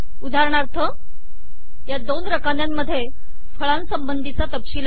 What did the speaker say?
उदाहरणार्थ या दोन रकान्यांत फळांसंबंधी चा तपशील आहे